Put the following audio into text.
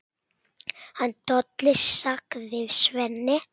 Hann Tolli, sagði Svenni.